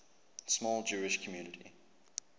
small jewish community